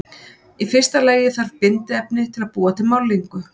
Í fyrsta lagi þarf bindiefni til að búa til málningu.